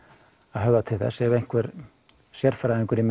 höfða til þess ef einhver sérfræðingur í